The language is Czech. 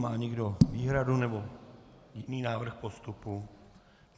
Má někdo výhradu nebo jiný návrh postupu?